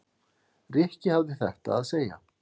Rikki hafði þetta að segja